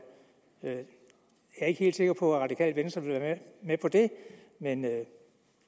jeg er ikke helt sikker på at radikale venstre vil være med på det men det